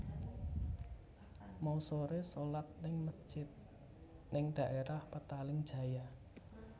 Mau sore solat ning mesjid ning daerah Petaling Jaya